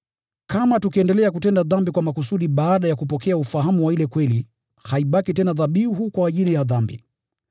Kama tukiendelea kutenda dhambi kwa makusudi baada ya kupokea ufahamu wa ile kweli, haibaki tena dhabihu kwa ajili ya dhambi.